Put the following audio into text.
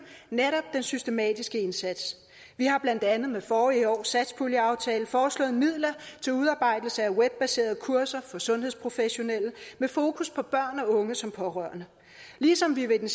netop den systematiske indsats vi har blandt andet med forrige års satspuljeaftale foreslået midler til udarbejdelse af webbaserede kurser for sundhedsprofessionelle med fokus på børn og unge som pårørende ligesom vi ved